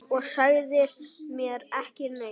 Og sagðir mér ekki neitt!